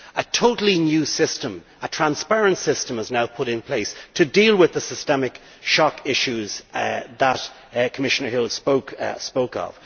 A totally new system, a transparent system is now put in place to deal with the systemic shock issues that Commissioner Hill spoke of.